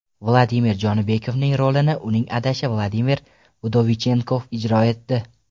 Vladimir Jonibekovning rolini uning adashi Vladimir Vdovichenkov ijro etdi.